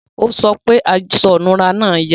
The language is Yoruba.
o sọ pé aṣọ inura náa yà